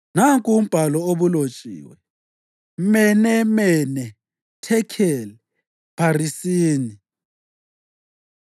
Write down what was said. Nanku umbhalo obulotshiwe: mene, mene, thekheli, pharisini.